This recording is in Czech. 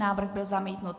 Návrh byl zamítnut.